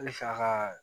Halisa ka